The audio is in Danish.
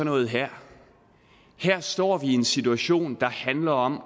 noget her her står vi i en situation der handler om